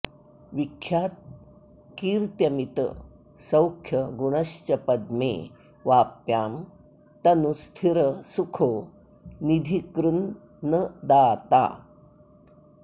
विख्यात कीर्त्यमित सौख्य गुणश्च पद्मे वाप्यां तनु स्थिर सुखो निधि कृन् न दाता